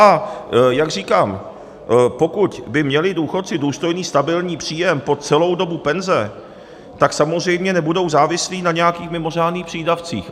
A jak říkám, pokud by měli důchodci důstojný stabilní příjem po celou dobu penze, tak samozřejmě nebudou závislí na nějakých mimořádných přídavcích.